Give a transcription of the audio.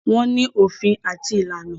Wọ́n ní òfin àti ìlànà.